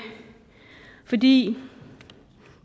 fordi